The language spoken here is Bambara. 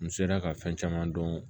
N sera ka fɛn caman dɔn